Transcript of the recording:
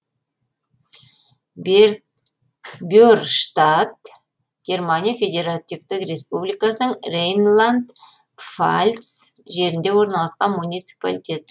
берштадт германия федеративтік республикасының рейнланд пфальц жерінде орналасқан муниципалитет